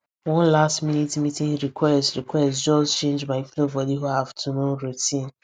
one last minute meeting request request just change my flow for the whole afternoon routine